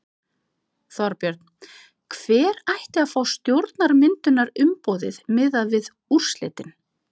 Þorbjörn: Hver ætti að fá stjórnarmyndunarumboðið miðað við úrslitin?